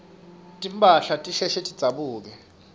timphahla tisheshe tidzabuke